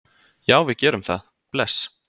Já, við gerum það. Bless.